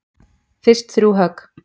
Fyrst þrjú högg.